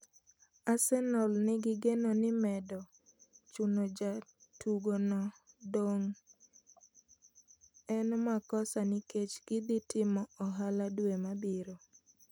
Arsenal nigi geno ni medo chuno jatugo no dong' en makosa nikech gidhi timo ohala due mabiro